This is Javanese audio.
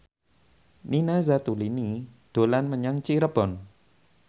Nina Zatulini dolan menyang Cirebon